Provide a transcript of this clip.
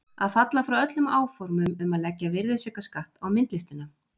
Að falla frá öllum áformum um að leggja virðisaukaskatt á myndlistina!